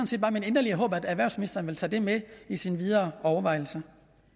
set bare mit inderlige håb at erhvervsministeren vil tage det med i sine videre overvejelser